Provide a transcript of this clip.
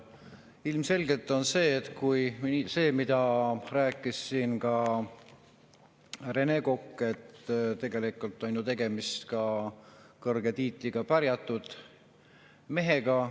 Ilmselgelt on see, mida rääkis ka Rene Kokk, et tegelikult on ju tegemist kõrge tiitliga pärjatud mehega.